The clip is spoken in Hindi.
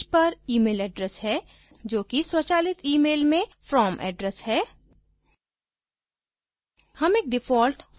इसके अलावा इस पैज पर email address है जो कि स्वचालित email में from address है